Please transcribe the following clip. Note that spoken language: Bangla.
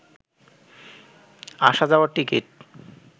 আসা যাওয়ার টিকিট